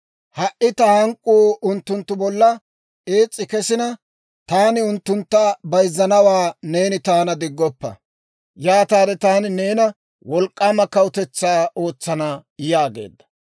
Ha"i ta hank'k'uu unttunttu bolla ees's'i kesina, taani unttuntta bayzzanawaa neeni taana diggoppa. Yaataade taani neena wolk'k'aama kawutetsaa ootsana» yaageedda.